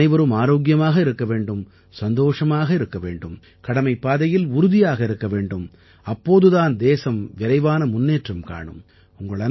நீங்கள் அனைவரும் ஆரோக்கியமாக இருக்க வேண்டும் சந்தோஷமாக இருக்க வேண்டும் கடமைப் பாதையில் உறுதியாக இருக்க வேண்டும் அப்போது தான் தேசம் விரைவான முன்னேற்றம் காணும்